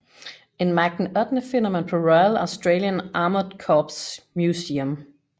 En Mark VIII finder man på Royal Australian Armoured Corps Museum